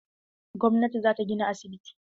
Gwamnati za ta gina asibiti.